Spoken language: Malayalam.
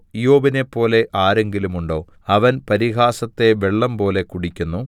ഇയ്യോബിനെപ്പോലെ ആരെങ്കിലുമുണ്ടോ അവൻ പരിഹാസത്തെ വെള്ളംപോലെ കുടിക്കുന്നു